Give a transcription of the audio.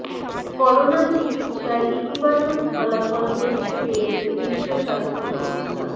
corona চিকিৎসায় ইতিবাচক ফলাফল দেখতে পেয়েছে বিশ্ব স্বাস্থ্য সংস্থা